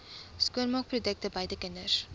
skoonmaakprodukte buite kinders